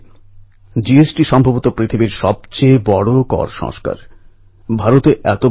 আরও একজন সাহসী যোগেশ কটুনিয়াজী